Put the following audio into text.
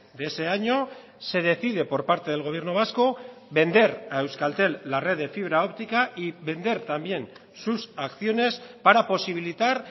de ese año se decide por parte del gobierno vasco vender a euskaltel la red de fibra óptica y vender también sus acciones para posibilitar